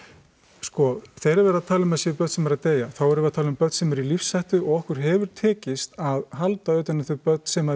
sko þegar verið er að tala um það séu börn sem eru að deyja þá erum við að tala um börn sem eru í lífshættu og okkur hefur tekist að halda utan um þau börn sem